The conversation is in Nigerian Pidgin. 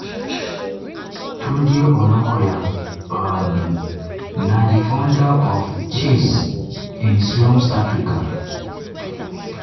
tunde onakoya um na di founder of chess in slums africa.